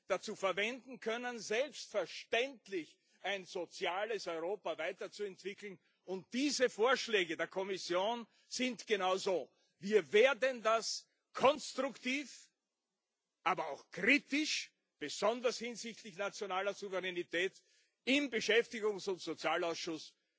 dazu verwenden können, selbstverständlich ein soziales Europa weiterzuentwickeln, und diese Vorschläge der Kommission sind genau so. Wir werden das konstruktiv, aber auch kritisch, besonders hinsichtlich nationaler Souveränität, und sehr intensiv im Beschäftigungs und Sozialausschuss